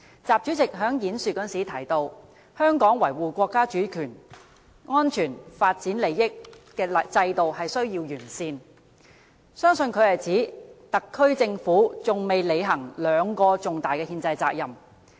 習主席的演說提及，香港維護國家主權、安全、發展利益的制度需要完善，相信他是指特區政府還未履行兩個重大的憲制責任。